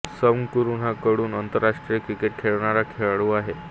Sam Curran हा कडून आंतरराष्ट्रीय क्रिकेट खेळणारा खेळाडू आहे